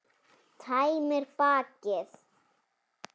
Tæmir bakið.